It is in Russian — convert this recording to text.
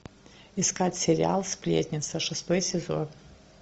искать сериал сплетница шестой сезон